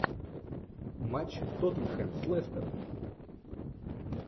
матч тоттенхэм с лестером